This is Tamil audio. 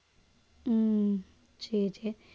உம் சரி சரி